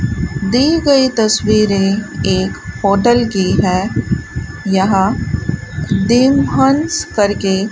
दी गई तस्वीरें एक होटल की हैं यहां देम हंस करके --